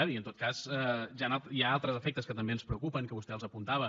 vull dir en tot cas hi ha altres efectes que també ens preocupen que vostè els apuntava